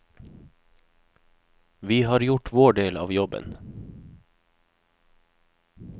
Vi har gjort vår del av jobben.